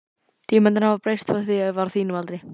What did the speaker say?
Tímarnir hafa breyst frá því ég var á þínum aldri.